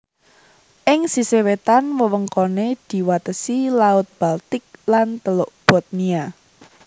Ing sisih wétan wewengkoné diwatesi Laut Baltik lan Teluk Bothnia